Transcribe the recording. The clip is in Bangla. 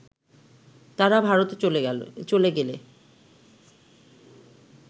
তারা ভারতে চলে গেলে